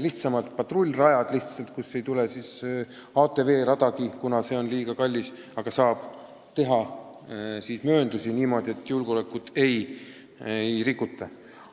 lihtsamad patrullrajad, kuhu ei tule ATV radagi, kuna see on liiga kallis, aga saab teha mööndusi niimoodi, et julgeolekunõudeid ei rikuta.